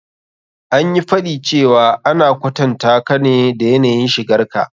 An yi faɗi cewa ana kwatantaka ne da yanayin shigar ka.